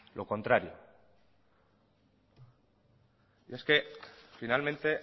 lo contrario y es que finalmente